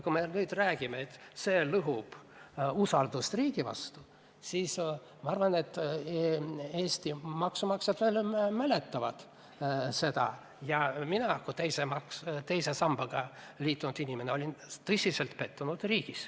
Kui me nüüd räägime, et see lõhub usaldust riigi vastu, siis ma arvan, et Eesti maksumaksjad veel mäletavad seda aega ja mina kui teise sambaga liitunud inimene olin riigis tõsiselt pettunud.